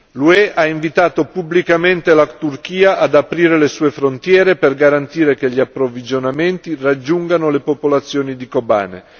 L'UE ha invitato pubblicamente la Turchia ad aprire le sue frontiere per garantire che gli approvvigionamenti raggiungano le popolazioni di Kobane.